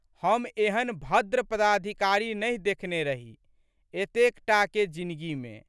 हम एहन भद्र पदाधिकारी नहि देखने रही एतेक टाके जिनगी मे।